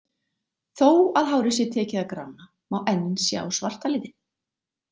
Þó að hárið sé tekið að grána má enn sjá svarta litinn.